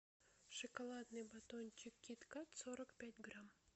шоколадный батончик кит кат сорок пять грамм